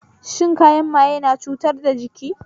Shan kayan maye na cutar da jiki